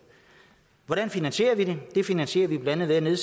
hvordan finansierer vi det det finansierer vi blandt andet